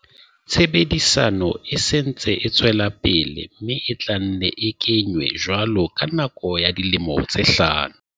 Tshebediso e se e ntse e tswela pele mme e tla nne e ke nywe jwalo ka nako ya dilemo tse hlano.